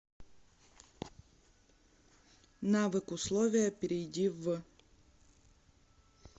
навык условия перейди в